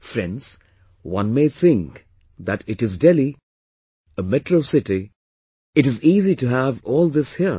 Friends, one may think that it is Delhi, a metro city, it is easy to have all this here